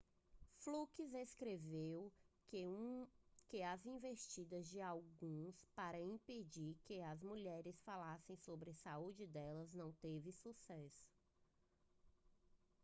fluke escreveu que as investidas de alguns para impedir que as mulheres falassem sobre a saúde delas não teve sucesso